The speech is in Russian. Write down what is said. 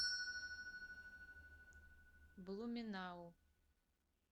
блуменау